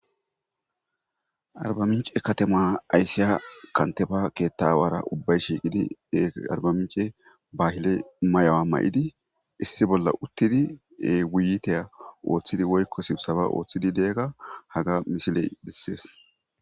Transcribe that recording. arbaminche katema aysiya kanteba keettawara ubbay shiiqidi arbamince baahile may7awa ma7idi issi bolla uttidi e wuyiteya ooththidi woykko sibsaba ooththidi deegga haga misiley bessees